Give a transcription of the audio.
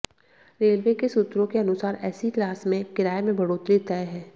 railway के सूत्रों के अनुसार एसी क्लास में किराए में बढ़ोतरी तय है